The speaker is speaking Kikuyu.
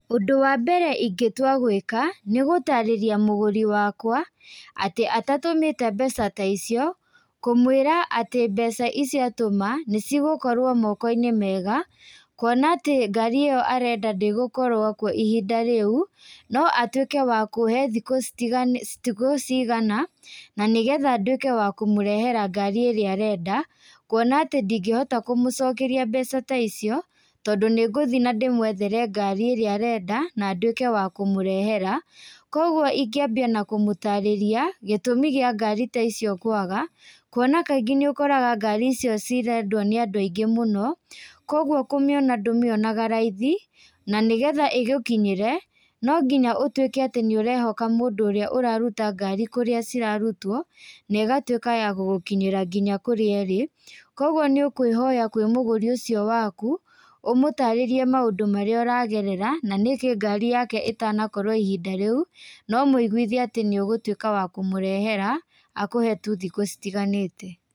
Ũndũ wa mbere ingĩtũa gwĩka nĩgũtarĩrĩa mũgũrĩ wakwa atĩ atatũmĩte mbeca ta ĩcĩo kũmwĩra atĩ mbeca ĩcĩo atũma nĩ cĩgíũkorwo moko-ĩnĩ mega kũona atĩ ngarĩ ĩo arenda ndĩgũkorwa kũo ĩhĩnda rĩu no atwĩke wa kũhe thĩkũ cĩĩgana na nĩ getha ndwĩke wa kũmũrehera ngarĩ ĩrĩa arenda kũona atĩ ndĩngĩhota kũmũcokerĩa mbeca ta ĩcĩo tondũ nĩ gũthĩĩ na ndĩmũethere ngarĩ ĩrĩa arenda na ndwĩke wa kũmũrehera ,kogwo ĩngĩambĩa na kũmũtarĩrĩa gĩtũmĩ kĩa ngarĩ ta ĩcĩo kwaga kũona kangĩ nĩũkoraga ngarĩ ĩcĩo cĩrendwo nĩ andũ angĩ mũno kogwo kũmĩona ndũmĩonaga raithĩ na nĩ getha ĩgũkĩnyĩre no gĩnya ũtũke atĩ nĩ ũrehoka mũndũ ũrĩa ũrarũta ngarĩ kũrĩa cĩrarũtwo nĩ ĩgatũĩka ya gũgũkĩnyĩra ngĩnya kũria ĩrĩ kogwo nĩ ũkwĩhoya kwĩ mũgũrĩ ucĩo wakũ ũmũtararĩrĩe maũndũ marĩa ũragerera na nĩkĩ ngarĩ yake ĩtanakorwo ĩhĩnda rĩũ no ũmũĩgwĩthĩe atĩ nĩ ũgũtũĩka wakũmũrehera akũhe tũ thĩkũ cĩtĩganĩte.